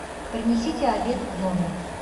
принесите обед в номер